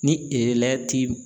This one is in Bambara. Ni